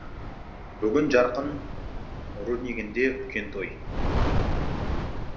бүгін жарқын руднигінде үлкен той